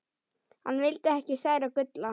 Hann vildi ekki særa Gulla.